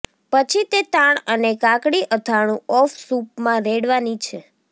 પછી તે તાણ અને કાકડી અથાણું ઓફ સૂપ માં રેડવાની છે